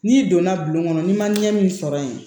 N'i donna bulon kɔnɔ n'i ma ɲɛ min sɔrɔ yen